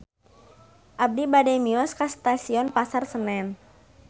Abi bade mios ka Stasiun Pasar Senen